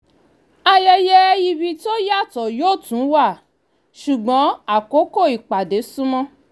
ayẹyẹ ìbí tó yàtọ̀ yó tú wá ṣùgbọ́n àkókò ìpàdé sunmọ́